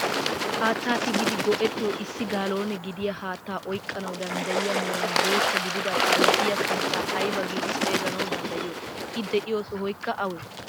Haattaa tigidi go"ettiyoo issic gaaloone gidiyaa haattaa oyqqanawu danddayiyaa meran boottaa gidida balddiyaa sunttaa ayba giidi xeeganawu danddayiyoo? i de'iyoo sohoykka awee?